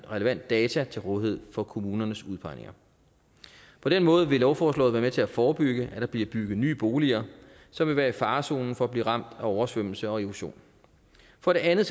relevant data til rådighed for kommunernes udpegninger på den måde vil lovforslaget være med til at forebygge at der bliver bygget nye boliger som vil være i farezonen for at blive ramt af oversvømmelse og erosion for det andet